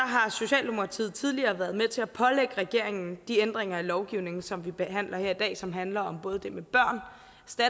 har socialdemokratiet tidligere været med til at pålægge regeringen de ændringer af lovgivningen som vi behandler her i dag som handler om både det med børn